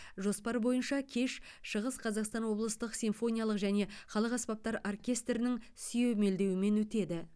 жоспар бойынша кеш шығыс қазақстан облыстық симфониялық және халық аспаптар оркестрінің сүйемелдеуімен өтеді